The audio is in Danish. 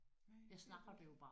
Nej det ved jeg ikke